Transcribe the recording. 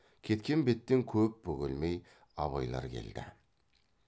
кеткен беттен көп бөгелмей абайлар келді